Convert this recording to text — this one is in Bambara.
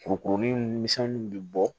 Kurukurunin ni misɛnninw bɛ bɔ